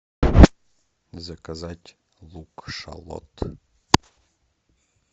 заказать лук шалот